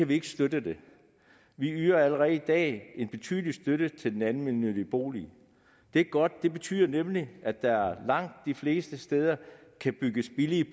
vi ikke støtte det vi yder allerede i dag en betydelig støtte til den almennyttige bolig det er godt det betyder nemlig at der langt de fleste steder kan bygges billige